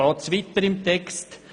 Dann geht es weiter im Text.